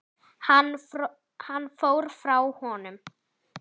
Hann fór frá honum.